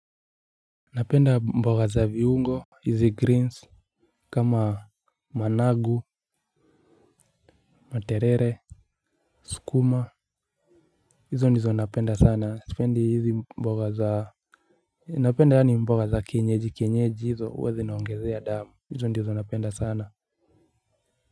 Napenda mboga za viungo. Hizi greens, kama managu, materere, skuma. Hizo ndizo napenda sana, spendi hizi mboga za napenda yani mboga za kenyeji kenyeji hizo hua zinaongezea damu, hizo ndizo napenda sana.